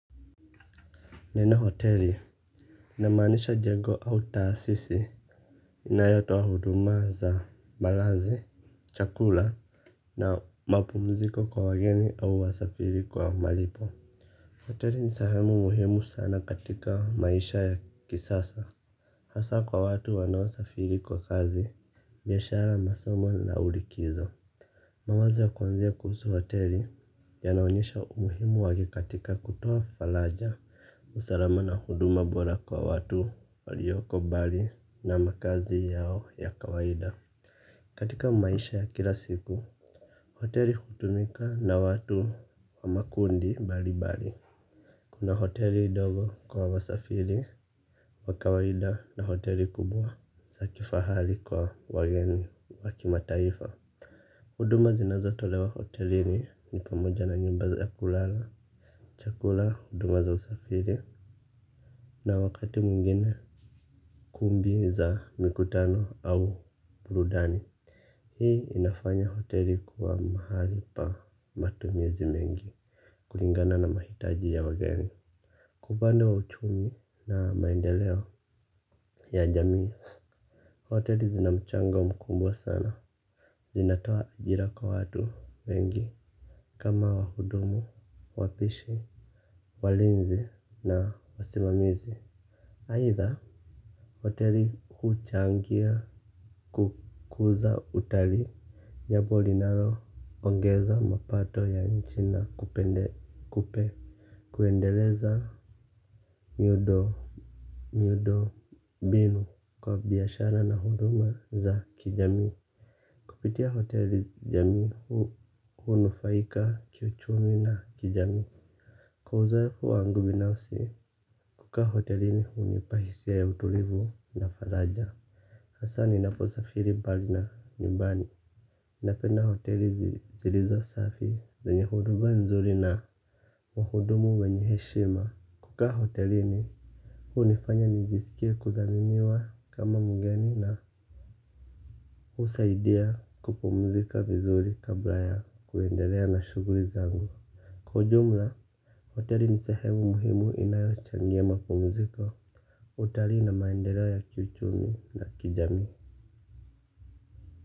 Neno hoteli. Inamanisha jengo au taasisi inayotoa huduma za malazi, chakula na mapumziko kwa wageni au wa safiri kwa malipo. Hoteli ni sehemu muhimu sana katika maisha ya kisasa. Hasa kwa watu wanao safiri kwa kazi biashara masomo na au likizo mawazo ya kuanzia kuhusu hoteli, yanaonyesha umuhimu wake katika kutoa faraja usalama na huduma bora kwa watu walioko bali na makaazi yao ya kawaida. Katika maisha ya kila siku, hoteli kutumika na watu wa makundi mbali mbali. Kuna hoteli ndogo kwa wasafiri wa kawaida na hoteli kubwa za kifahari kwa wageni wa kima taifa. Huduma zinazotolewa hotelini ni pamoja na nyumba za ya kulala. Chakula, huduma za usafiri na wakati mwingine kundi za mkutano au burudani. Hii inafanya hoteli kuwa mahali pa matumizi mengi. Kulingana na mahitaji ya wageni kwa upande wa uchumi na maendeleo ya jamii hoteli zina mchangaowa mkubwa sana. Zinataoa ajira kwa watu mengi kama wahudumu wapishi, walinzi na wasimamizi aidha hoteli huchangia kukuza utalii. Jambo linaloongeza mapato ya nchini kupende kupe. Kuendeleza miundo miundo mbinu kwa biashara na huduma za kijami. Kupitia hoteli jami hunufaika kiuchumi na kijami. Kwa uzoefu wangu binausi, kukaa hotelini hunipa hisia ya utulivu na faraja. Hasa ninaposafiri mbali na nyumbani napenda hoteli zilizo safi zenye huduma nzuri na wahudumu wenye heshima kukaa hotelini hunifanya nijiskie kudhaminiwa kama mgeni na husaidia kupumzika vizuri kabla ya kuendelea na shughuli zangu. Kwa ujumla, hoteli ni sehemu muhimu inayochangia mapumuziko. Hoteli na maendeleo ya kiuchumi na kijami.